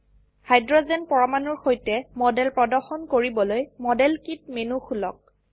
hydrogen পৰমাণুৰ সৈতে model প্ৰদৰ্শন কৰিবলৈ মডেল কিট মেনু খুলক